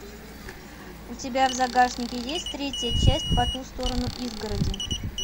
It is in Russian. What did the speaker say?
у тебя в загашнике есть третья часть по ту сторону изгороди